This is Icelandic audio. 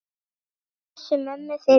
Við pössum mömmu fyrir þig.